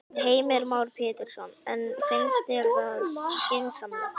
Heimir Már Pétursson: En finnst þér það skynsamlegt?